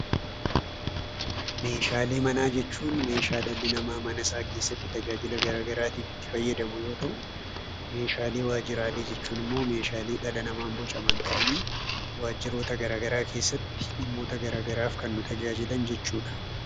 Meeshaalee manaa jechuun meeshaa dhalli namaa manasaa keessatti tajaajila garaagaraatiif itti fayyadamu yoo ta'u, meeshaalee waajjiraalee jechuun immoo meeshaalee dhala namaan bocaman ta'anii waajjiroota garaagaraa keessatti dhimmoota garaagaraaf kan nu tajaajilan jechuu dha.